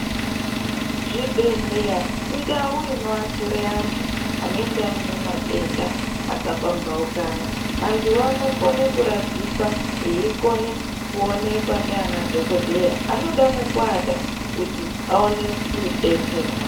Zvibhehleya indau inoaashire antu anenge aine matenda akapambaukana vantu vanokone kuradzikwa veiko kuonekwa ngana dhokodheya vanode mwekuwata kuti veikone kudetserwa.